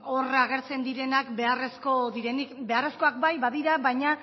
hor agertzen direnak beharrezko direnik beharrezkoak bai badira baina